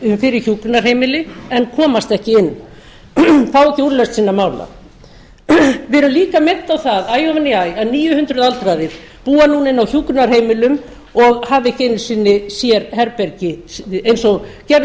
þörf fyrir hjúkrunarheimili en komast ekki inn fá ekki úrlausn sinna mála við erum líka minnt á það æ ofan í æ að níu hundruð aldraðir búa núna inni á hjúkrunarheimilum og hafa ekki einu sinni sérherbergi eins og gerð er